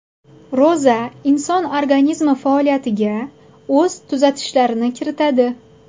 Ro‘za inson organizmi faoliyatiga o‘z tuzatishlarini kiritadi.